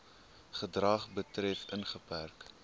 gedrag betref ingeperk